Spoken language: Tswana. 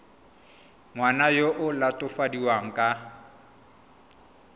ngwana yo o latofadiwang ka